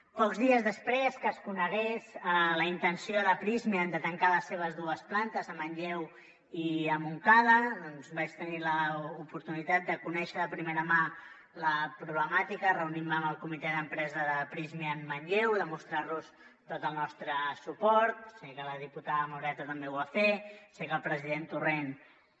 pocs dies després que es conegués la intenció de prysmian de tancar les seves dues plantes a manlleu i a montcada doncs vaig tenir l’oportunitat de conèixer de primera mà la problemàtica reunir me amb el comitè d’empresa de prysmian manlleu demostrar los tot el nostre suport sé que la diputada moreta també ho va fer sé que el president torrent també